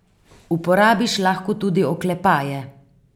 Uporabiš lahko tudi oklepaje.